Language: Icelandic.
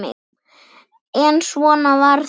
En svona var þetta.